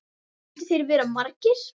Skyldu þeir vera margir?